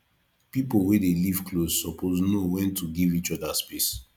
pipo wey dey live close suppose know wen to give each oda space